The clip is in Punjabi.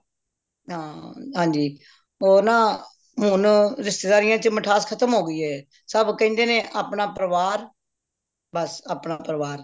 ਹੰ ਹਨਜੀ ਓਰ ਨਾ ਹੁਣ ਰਿਸ਼ਤੇਦਾਰੀਆਂ ਚ ਮਿਠਾਸ ਖਤਮ ਹੋ ਗਈਏ ਸਭ ਕਹਿੰਦੇ ਨੇ ਅਪਣਾ ਪਰਿਵਾਰ ਬੱਸ ਅਪਣਾ ਪਰਿਵਾਰ